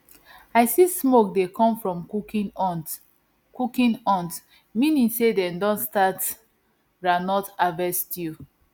i see smoke dey come from cooking hut cooking hut meaning say dem don start groundnut harvest stew